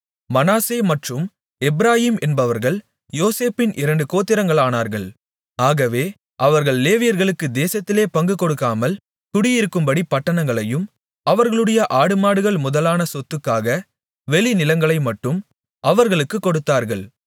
மனாசே மற்றும் எப்பிராயீம் என்பவர்கள் யோசேப்பின் இரண்டு கோத்திரங்களானார்கள் ஆகவே அவர்கள் லேவியர்களுக்கு தேசத்திலே பங்குகொடுக்காமல் குடியிருக்கும்படி பட்டணங்களையும் அவர்களுடைய ஆடுமாடுகள் முதலான சொத்துக்காக வெளிநிலங்களைமட்டும் அவர்களுக்குக் கொடுத்தார்கள்